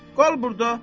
Qal burda.